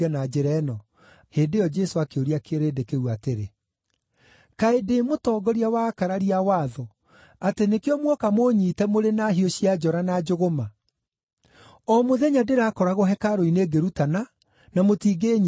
Hĩndĩ ĩyo Jesũ akĩũria kĩrĩndĩ kĩu atĩrĩ, “Kaĩ ndĩ mũtongoria wa akararia a watho, atĩ nĩkĩo muoka mũũnyiite mũrĩ na hiũ cia njora na njũgũma? O mũthenya ndĩrakoragwo hekarũ-inĩ ngĩrutana, na mũtingĩĩnyiita.